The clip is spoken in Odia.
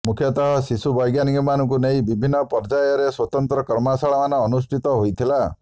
ମୁଖ୍ୟତଃ ଶିଶୁ ବ୘ଜ୍ଞାନିକମାନଙ୍କୁ ନେଇ ବଭିନ୍ନ ପର୍ଯ୍ୟାୟରେ ସ୍ବତନ୍ତ୍ର କର୍ମଶାଳାମାନ ଅନୁଷ୍ଠିତ ହେଇଥିଲା